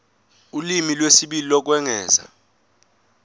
ulimi lwesibili lokwengeza